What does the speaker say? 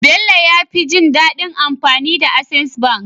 Bello yafi jin dadin amfani da access bank